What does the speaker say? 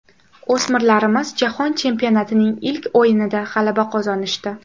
O‘smirlarimiz jahon chempionatining ilk o‘yinida g‘alaba qozonishdi.